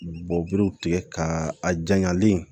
Bɔberew tigɛ ka a janyalen